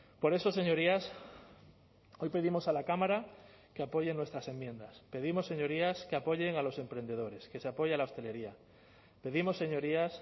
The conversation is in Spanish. por eso señorías hoy pedimos a la cámara que apoyen nuestras enmiendas pedimos señorías que apoyen a los emprendedores que se apoya la hostelería pedimos señorías